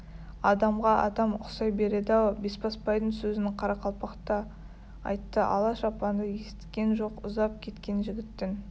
адамға адам ұқсай береді-ау бесбасбайдың сөзін қарақалпақ та айтты ала шапанды есіткен жоқ ұзап кеткен жігіттің